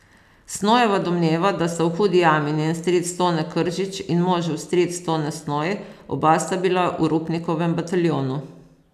Snojeva domneva, da sta v Hudi jami njen stric Tone Kržič in možev stric Tone Snoj, oba sta bila v Rupnikovem bataljonu.